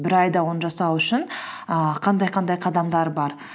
бір айда оны жасау үшін ііі қандай қандай қадамдар бар